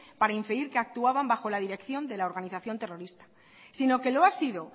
para impedir que actuaban bajo la dirección de la organización terrorista sino que lo ha sido